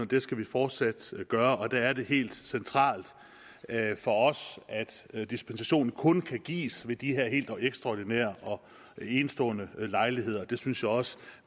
det skal vi fortsat gøre og der er det helt centralt for os at dispensation kun kan gives ved de her helt ekstraordinære og enestående lejligheder det synes jeg også